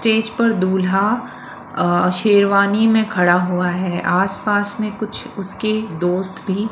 stage पर दुल्हा शेरवानी में खड़ा हुआ है आस पास में कुछ उसके दोस्त भी--